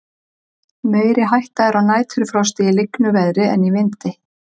meiri hætta er á næturfrosti í lygnu veðri en í vindi